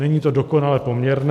Není to dokonale poměrné.